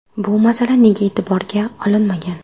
Bu masala nega e’tiborga olinmagan?